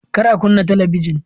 Kar a kunna talabijin!